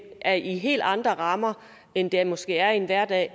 er i helt andre rammer end det måske er i en hverdag